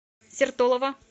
сертолово